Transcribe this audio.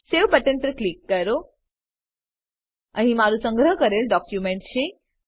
save button પર click કરો અહીં મારું સંગ્રહ કરેલ ડોક્યુંમેંટ છે